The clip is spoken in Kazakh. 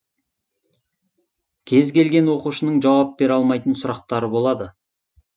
кез келген оқушының жауап бере алмайтын сұрақтары болады